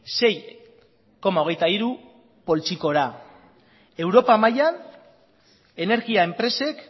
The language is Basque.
sei koma hogeita hiru poltsikora europa mailan energia enpresek